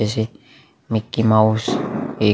जैसे मिक्कीमाउस एक--